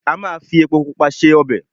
Ama fi epo Pupa se ọbẹ̀.